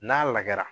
N'a lagɛra